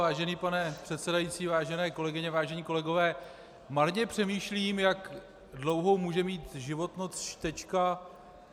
Vážený pane předsedající, vážené kolegyně, vážení kolegové, marně přemýšlím, jak dlouhou může mít životnost čtečka.